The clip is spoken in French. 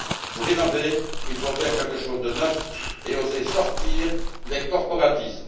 Pour innover, il faut faire quelque chose de neuf et oser sortir des corporatismes.